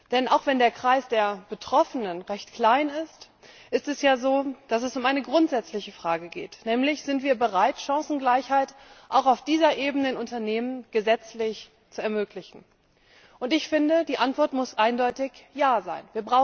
Denn auch wenn der Kreis der Betroffenen recht klein ist, ist es ja so, dass es um eine grundsätzliche Frage geht, nämlich Sind wir bereit, Chancengleichheit auch auf dieser Ebene in Unternehmen gesetzlich zu ermöglichen? Und ich finde, die Antwort muss eindeutig Ja sein.